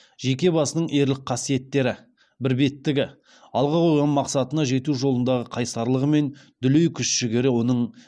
жеке басының ерлік қасиеттері бірбеттігі алға қойған мақсатына жету жолындағы қайсарлығы мен дүлей күш жігері оның